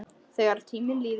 Þegar tíminn líður